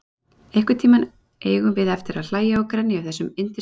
Einhvern tíma eigum við eftir að hlæja og grenja yfir þessum yndislegu ástarbréfum okkar.